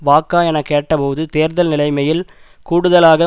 வாக்கா என கேட்டபோது தேர்தல் நிலைமையில் கூடுதலாக